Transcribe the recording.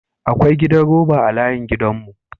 Akwa gidan roba a layin gidan mu.